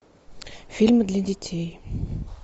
фильмы для детей